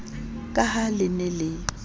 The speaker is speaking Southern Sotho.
ka ha le ne le